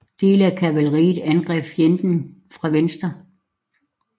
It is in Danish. Dele af kavaleriet angreb fjenden fra venstre